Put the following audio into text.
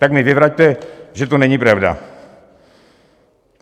Tak mi vyvraťte, že to není pravda.